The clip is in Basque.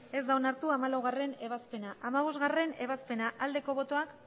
ez da onartu hamalaugarrena ebazpena hamabostgarrena ebazpena aldeko botoak